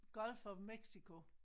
Gulf of Mexico